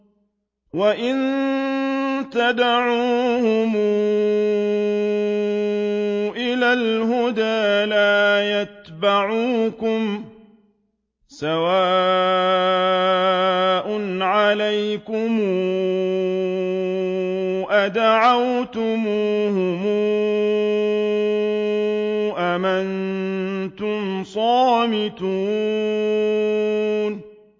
وَإِن تَدْعُوهُمْ إِلَى الْهُدَىٰ لَا يَتَّبِعُوكُمْ ۚ سَوَاءٌ عَلَيْكُمْ أَدَعَوْتُمُوهُمْ أَمْ أَنتُمْ صَامِتُونَ